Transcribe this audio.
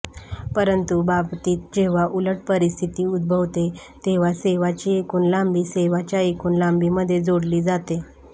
परंतु बाबतीत जेव्हा उलट परिस्थिती उद्भवते तेव्हा सेवाची एकूण लांबी सेवाच्या एकूण लांबीमध्ये जोडली जाते